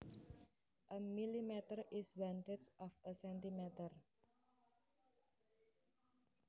A millimetre is one tenth of a centimetre